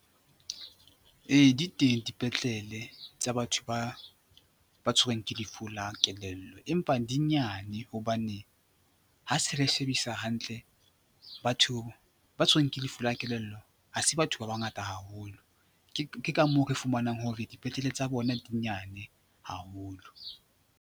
Ee, di teng dipetlele tsa batho ba tshwerweng ke lefu la kelello empa di nyane hobane ha se re shebisa hantle batho ba tshwerweng ke lefu la kelello ha se batho ba bangata haholo ke ka moo re fumanang hore dipetlele tsa bona di nyane haholo.